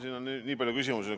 Siin on nii palju küsimusi.